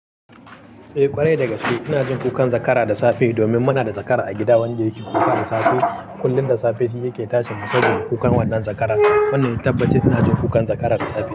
Eh ƙwarai da gaske, ina jin kukan zakara da safe domin muna da zakara a gida wanda yake kuka da safe. Kullum da safe shi yake tashi mun saboda kukan wannan zakara. Wannan tabbaci ina jin kukan zakara da safe.